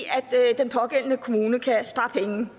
den pågældende kommune kan spare penge